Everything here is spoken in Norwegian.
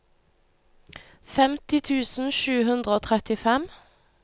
femti tusen sju hundre og trettifem